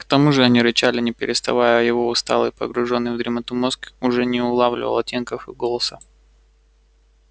к тому же они рычали не переставая а его усталый погружённый в дремоту мозг уже не улавливал оттенков в их голоса